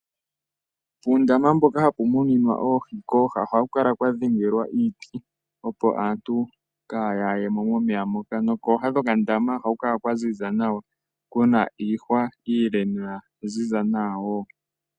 Puundama mboka hapu muninwa oohi, kooha ohaku kala kwa dhengelwa iiti, opo aantu kaaya ye mo momeya moka. Nokooha dhokandama ohaku kala kwa ziza nawa ku na iihwa iile noya ziza nawa wo.